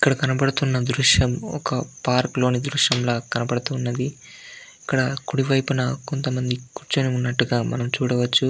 ఇక్కడ కనపడుతున్న దృశ్యము పార్క్ లోని దృశ్యం లాగా కనపడుతున్నది. ఇక్కడ కుడివైపున కొంతమంది కుచ్చోని ఉన్నట్టుగా మనము చూడవచ్చు.